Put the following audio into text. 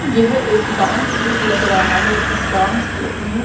यह एक dance group लग रहा है इस डांस ग्रुप मे--